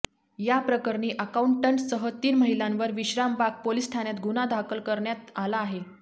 याप्रकरणी अकाऊंटंटसह तीन महिलांवर विश्रामबाग पोलिस ठाण्यात गुन्हा दाखल करण्यात आला आहे